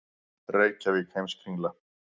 Reykjavík, Heimskringla.